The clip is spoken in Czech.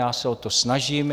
Já se o to snažím.